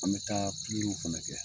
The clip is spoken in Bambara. An bɛ taa fana kɛ